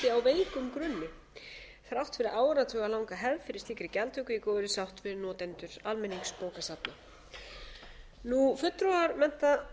hvíldi á veikum grunni þrátt fyrir áralanga hefð fyrir slíkri gjaldtöku í góðri sátt við notendur almenningsbókasafna fulltrúar mennta